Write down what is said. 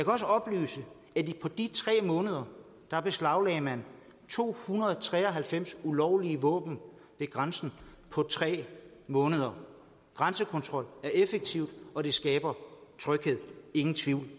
også oplyse at på de tre måneder beslaglagde man to hundrede og tre og halvfems ulovlige våben ved grænsen på tre måneder grænsekontrol er effektivt og det skaber tryghed ingen tvivl